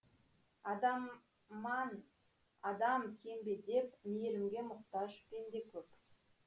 адамман адам кем бе деп мейрімге мұқтаж пенде көп